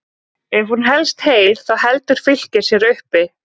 Ef hún helst heil þá heldur Fylkir sér uppi.